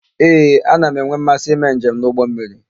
Ee, ana m enwe mmasị ime njem n'ụgbọmmiri.